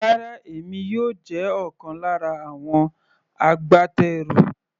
Rárá, èmi yóò jẹ́ ọ̀kan lára àwọn agbátẹrù.